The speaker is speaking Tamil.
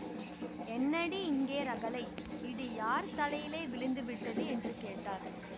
என்னடி இங்கே ரகளை இடி யார் தலையிலே விழுந்து விட்டது என்று கேட்டார்